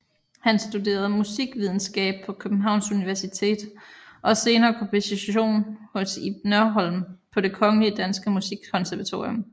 Han studerede musikvidenskab på Københavns Universitet og senere komposition hos Ib Nørholm på Det Kongelige Danske Musikkonservatorium